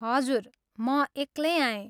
हजुर म एक्लै आएँ।